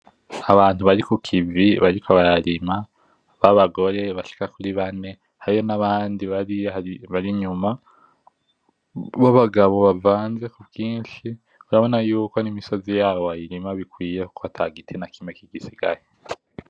Abantu barikukivi bariko bararima, abagore bashika kuri bane hariyo nabandi bari inyuma ba bagabo bavanze ku kinshi. Urabona ko nimisozi yabo wayirima bikwiye ko atagitina kimwe gisigaye.